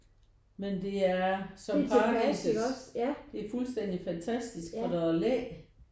Men det er som paradisets. Det er fuldstændig fantastisk for der er læ